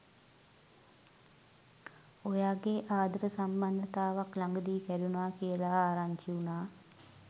ඔයාගේ ආදර සම්බන්ධතාවක් ළඟ දී කැඩුණා කියලා ආරංචි වුණා